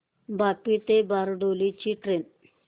वापी ते बारडोली ची ट्रेन